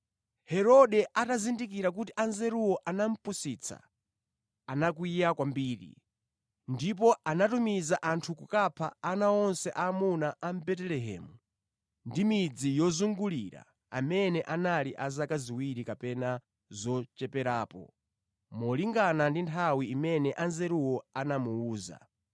Herode atazindikira kuti Anzeruwo anamupusitsa, anakwiya kwambiri. Ndipo anatumiza anthu kukapha ana onse aamuna a mʼBetelehemu ndi midzi yozungulira amene anali a zaka ziwiri kapena zocheperapo, molingana ndi nthawi imene Anzeruwo anamuwuza.